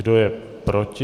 Kdo je proti?